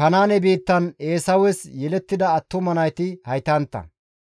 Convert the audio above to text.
Kanaane biittan Eesawes yelettida attuma nayti haytantta.